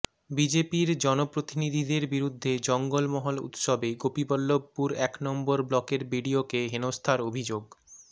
বিজেপির জনপ্রতিনিধিদের বিরুদ্ধে জঙ্গমহল উৎসবে গোপীবল্লভপুর এক নম্বর ব্লকের বিডিওকে হেনস্থার অভিযোগ